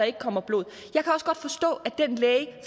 ikke kommer blod